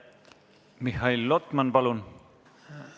Mihhail Lotman, palun!